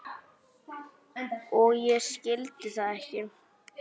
Og ég skildi það ekki.